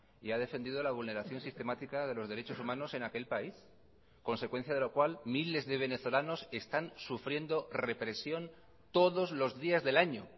y ha defendido la vulneración sistemática de los derechos humanos en aquel país consecuencia de lo cual miles de venezolanos están sufriendo represión todos los días del año